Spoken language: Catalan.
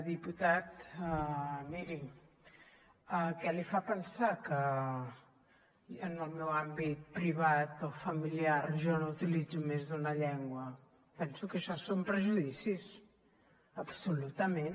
diputat miri què li fa pensar que en el meu àmbit privat o familiar jo no utilitzo més d’una llengua penso que això són prejudicis absolutament